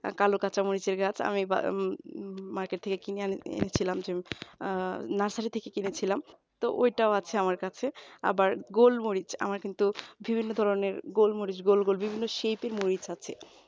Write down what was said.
কালো কাঁচামরিচের গাছ আমি Market থেকে কিনে এনেছিলাম আহ nursery থেকে কিনেছিলাম তো ওইটাও আছে আমার কাছে আবার গোল মরিচ আমার কিন্তু বিভিন্ন ধরনের গোল মরিচ গোল গোল বিভিন্ন শীতের মরিচ আছে